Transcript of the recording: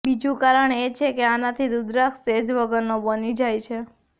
બીજું કારણ એ છે કે આનાથી રુદ્રાક્ષ તેજ વગરનો બની જાય છે